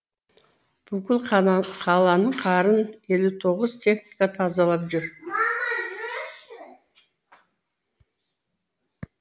бүкіл қаланың қарын елу тоғыз техника тазалап жүр